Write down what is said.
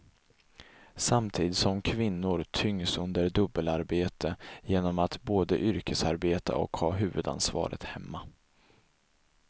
Samtidigt som kvinnor tyngs under dubbelarbete genom att både yrkesarbeta och ha huvudansvaret hemma.